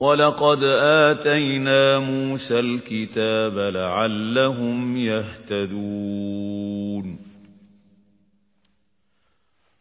وَلَقَدْ آتَيْنَا مُوسَى الْكِتَابَ لَعَلَّهُمْ يَهْتَدُونَ